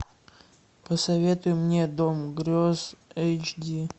посоветуй мне дом грез эйч ди